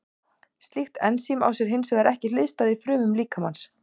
Slíkt ensím á sér hins vegar ekki hliðstæðu í frumum líkamans.